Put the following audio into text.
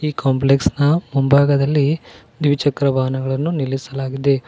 ಈ ಕಾಂಪ್ಲೆಕ್ಸ್ ನ ಮುಂಭಾಗದಲ್ಲಿ ದ್ವಿಚಕ್ರ ವಾಹನಗಳನ್ನು ನಿಲ್ಲಿಸಲಾಗಿದೆ.